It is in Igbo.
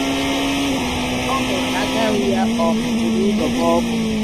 ọ hụrụ na aka nri ya um buru ụzọ gbaa ọkụ